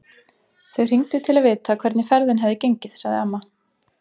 Þau hringdu til að vita hvernig ferðin hefði gengið, sagði amma.